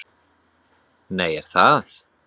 Nei, er það?